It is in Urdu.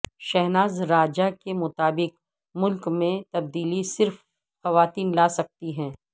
شہناز راجہ کے مطابق ملک میں تبدیلی صرف خواتین لا سکتی ہیں